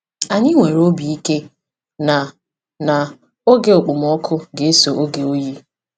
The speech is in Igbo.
Anyị nwere obi ike na na oge okpomọkụ ga-eso oge oyi.